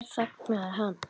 Hér þagnaði hann.